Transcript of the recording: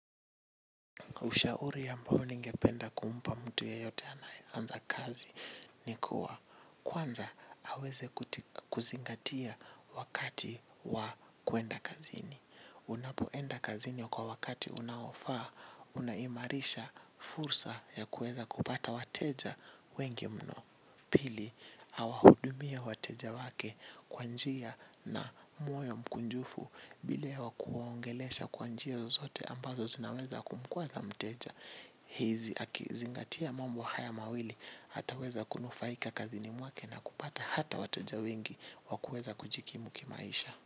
Ushauri ambao ningependa kumpa mtu yeyote anaanza kazi ni kuwa kwanza aweze kuzingatia wakati wa kuenda kazini. Unapoenda kazini kwa wakati unaofaa, unahimarisha fursa ya kuweza kupata wateja wengi mno. Pili, awahudumie wateja wake kwa njia na moyo mkunjufu bila kuwaongelesha kwa njia zozote ambazo zinaweza kumkwaza mteja. Hizi, akizingatia mambo haya mawili ataweza kunufaika kazini mwake na kupata hata wateja wengi wa kuweza kujikimu kimaisha.